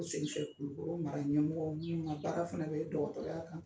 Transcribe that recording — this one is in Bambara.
U sen so Kulukoro mara ɲɛmɔgɔ minnuw ka baara fɛnɛ bɛ dɔgɔtɔrɔya kan..